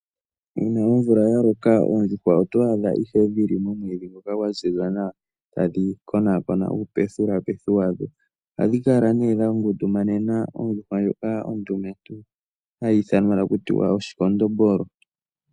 Uuna omvula yaloka oondjuhwa oto adha ihe dhili momwiidhi ngoka gwaziza nawa tadhi konakona uupethulapethu wadho, ohadhi kala ne dhangundumanena ondjuhwa ndjoka ondumentu, hayi ithanwa takutiwa oshikondombolo.